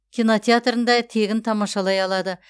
кинотеатрында тегін тамашалай алады